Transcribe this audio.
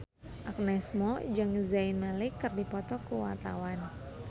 Agnes Mo jeung Zayn Malik keur dipoto ku wartawan